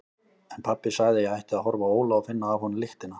En pabbi sagði að ég ætti að horfa á Óla og finna af honum lyktina.